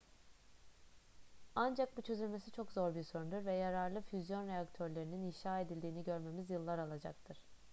ancak bu çözülmesi çok zor bir sorundur ve yararlı füzyon reaktörlerinin inşa edildiğini görmemiz yıllar alacaktır